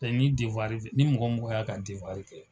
ni ni mɔgɔ o mɔgɔ y'a ka dewari kɛ.